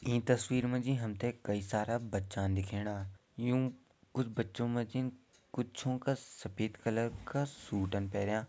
इ तस्वीर मा जी हम तैं कई सारा बच्चा दिखेणा यूं कुछ बच्चो मा जिन कुच्छों का सफ़ेद कलर का सूट अन पैरयां।